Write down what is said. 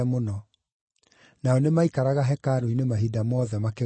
Nao nĩmaikaraga hekarũ-inĩ mahinda mothe makĩgoocaga Ngai.